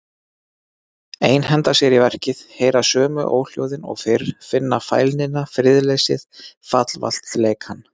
Einhenda sér í verkið, heyra sömu óhljóðin og fyrr, finna fælnina, friðleysið, fallvaltleikann.